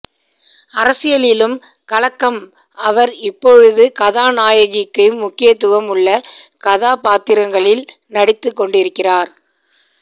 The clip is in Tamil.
அரசியலிலும் கலக்கும் அவர் இப்பொழுது காதாநாயகிக்கு முக்கியத்துவம் உள்ள கதாபாத்திரங்களில் நடித்து கொண்டிருக்கிறார்